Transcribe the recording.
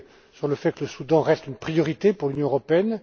sur le fait que le Soudan reste une priorité pour l'Union européenne.